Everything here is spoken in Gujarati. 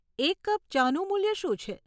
એક કપ ચાનું મૂલ્ય શું છે?